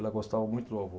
Ela gostava muito do avô.